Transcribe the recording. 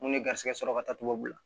Mun ye garisɛgɛ sɔrɔ ka taa tubabu la